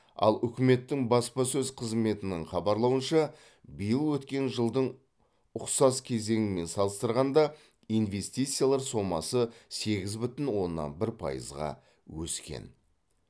ал үкіметтің баспасөз қызметінің хабарлауынша биыл өткен жылдың ұқсас кезеңімен салыстырғанда инвестициялар сомасы сегіз бүтін оннан бір пайызға өскен